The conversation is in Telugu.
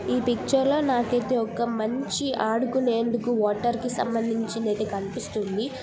ఈ పిక్చర్ లో నాకు అయితే ఒక మంచి ఆడుకునేందుకు వాటర్ కి సంబందిచినధైతే కనిపిస్తుంది.